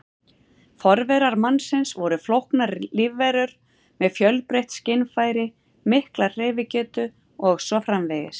Forverar mannsins voru flóknar lífverur með fjölbreytt skynfæri, mikla hreyfigetu og svo framvegis.